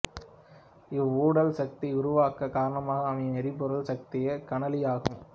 இவ்வுடல் சக்தி உருவாகக் காரணமாக அமையும் எரிபொருள் சக்தியே கனலி ஆகும்